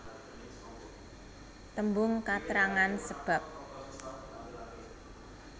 Tembung katrangan sebab